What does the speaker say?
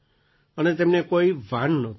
અને તેમને કોઈ ભાન નહોતું